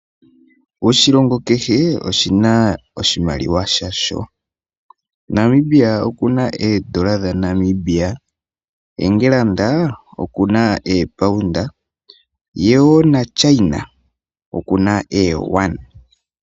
Oshilongo kehe oshi na oshimaliwa sha sho. Namibia oku na oodola dhaNamibia, England oku na oopaunda ye wo naChina oku na ooyuana.